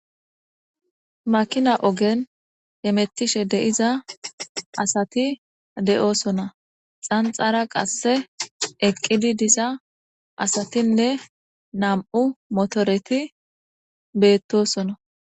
makina ogen emettishe deiza asati de7osona xanxara qasse eqqidi diza asatinne nam7u motoreti beettosona